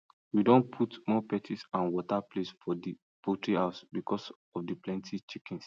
we don put more perches and water place for the poultry house because of the plenty chickens